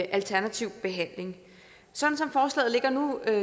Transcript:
alternativ behandling sådan som forslaget ligger nu